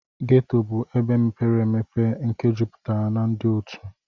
ghetto bu ebe mepere obere nke juputara na ndi otu.